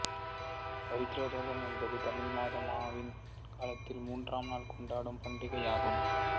பவித்ரோதாவனம் என்பது தமிழ் மாத ஆவின் காலத்தில் மூன்று நாள் கொண்டாடும் பண்டிகையாகும்